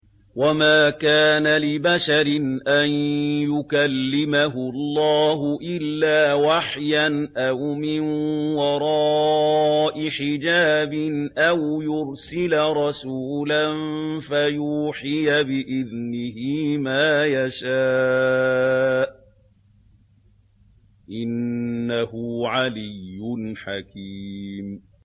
۞ وَمَا كَانَ لِبَشَرٍ أَن يُكَلِّمَهُ اللَّهُ إِلَّا وَحْيًا أَوْ مِن وَرَاءِ حِجَابٍ أَوْ يُرْسِلَ رَسُولًا فَيُوحِيَ بِإِذْنِهِ مَا يَشَاءُ ۚ إِنَّهُ عَلِيٌّ حَكِيمٌ